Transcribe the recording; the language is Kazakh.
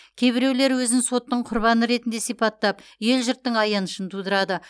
кейбіреулер өзін соттың құрбаны ретінде сипаттап ел жұрттың аянышын тудырады